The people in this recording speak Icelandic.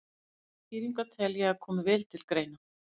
Báðar skýringarnar tel ég að komi vel til greina.